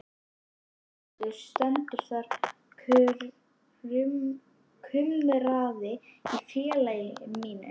Þú verður hengdur stendur þar kumraði í félaga mínum.